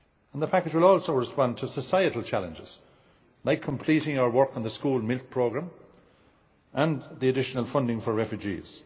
The package will also respond to societal challenges, like completing our work on the School Milk Scheme programme and the additional funding for refugees.